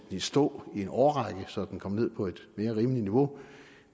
i stå i en årrække så den kom ned på et mere rimeligt niveau